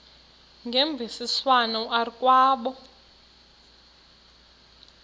ngemvisiswano r kwabo